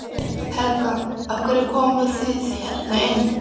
Helga: Af hverju komuð þið hérna inn?